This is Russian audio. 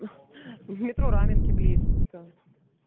метро раменки близко